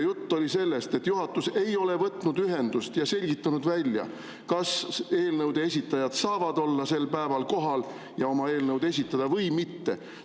Jutt oli sellest, et juhatus ei ole võtnud ühendust ega selgitanud välja, kas eelnõude esitajad saavad olla sel päeval kohal ja oma eelnõu esitada või mitte.